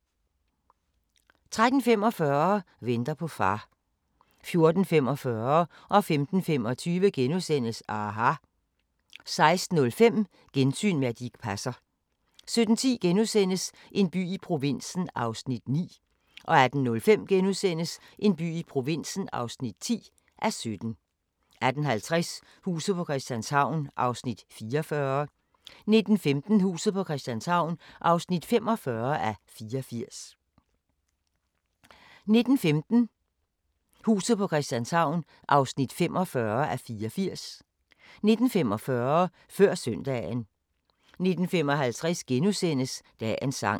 13:45: Venter på far 14:45: aHA! * 15:25: aHA! * 16:05: Gensyn med Dirch Passer 17:10: En by i provinsen (9:17)* 18:05: En by i provinsen (10:17)* 18:50: Huset på Christianshavn (44:84) 19:15: Huset på Christianshavn (45:84) 19:45: Før søndagen 19:55: Dagens sang *